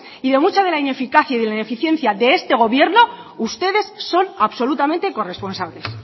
y de mucha de la ineficacia y de la ineficiencia de este gobierno ustedes son absolutamente corresponsables